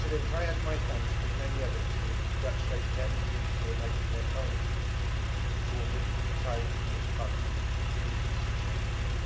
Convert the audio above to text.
I add my thanks to the many others who have congratulated MEPs who are making their final speeches before retiring from this Parliament, including Ms Giannakou.